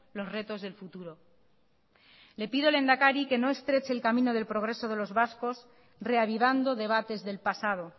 los retos del futuro le pido lehendakari que no estreche el camino del progreso de los vascos reavivando debates del pasado